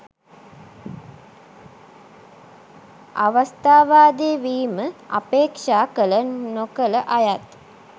අවස්ථාවාදී වීම අපේක්ෂා කළ නොකළ අයත්